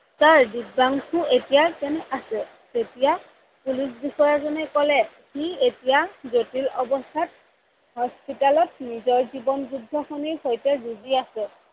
Sir Dibyangshu এতিয়া কেনে আছে? তেতিয়া police বিষয়াজনে কলে সি এতিয়া জটিল অৱস্থাত hospital ত নিজৰ জীৱন যুদ্ধ সৈতে যুজি আছে